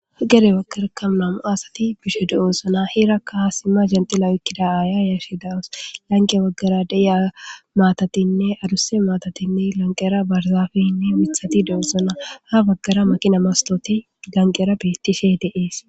Gere wagkarekamu namu asati bishe du'oosana hirakkahaasimma genxilawikkida aaya yashe dawus lanqe waggara deiya maatatinne aduse maatatinne lanqera barzafeyinne withati deezana ha baggara makina mastoti ganqera beettishe deees.